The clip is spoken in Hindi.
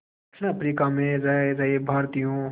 दक्षिण अफ्रीका में रह रहे भारतीयों